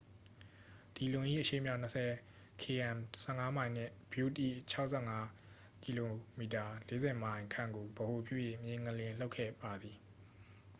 ဒီလွန် ၏ အရှေ့မြောက် ၂၀ km ၁၅ မိုင် နှင့် butte ၏ ၆၅ km ၄၀ မိုင် ခန့်ကို ဗဟိုပြု၍ မြေငလျင်လှုပ်ခဲ့ပါသည်။